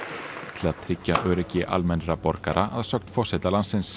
til að tryggja öryggi almennra borgara að sögn forseta landsins